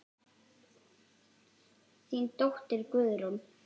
Þín dóttir Guðrún.